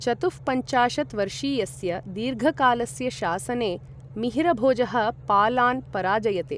चतुःपञ्चाशत् वर्षीयस्य दीर्घकालस्य शासने, मिहिरभोजः पालान् पराजयते।